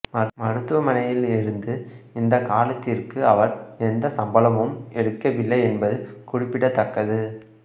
மருத்துவமனையில் இருந்து இந்த காலத்திற்கு அவர் எந்த சம்பளமும் எடுக்கவில்லை என்பது குறிப்பிடத்தக்கது